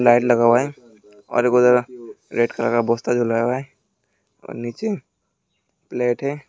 Light लगा हुआ है और रेड कलर का पोस्टर जो लगा हुआ है और नीचे प्लेट है।